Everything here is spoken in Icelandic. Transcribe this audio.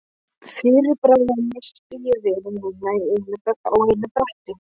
Fyrir bragðið missti ég vini mína á einu bretti.